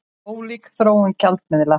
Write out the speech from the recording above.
Ólík þróun gjaldmiðla